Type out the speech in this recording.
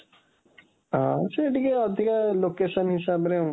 ହଁ, ସିଏ ଟିକେ ଅଧିକା, location ହିସାବରେ,